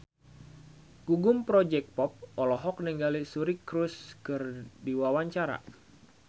Gugum Project Pop olohok ningali Suri Cruise keur diwawancara